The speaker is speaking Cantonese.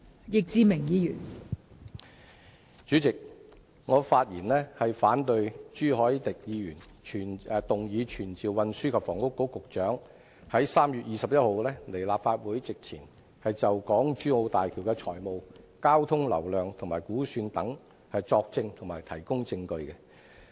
代理主席，我發言反對朱凱廸議員動議本會傳召運輸及房屋局局長於3月21日到立法會席前，就港珠澳大橋工程的財務情況、交通流量估算等作證及提供證據。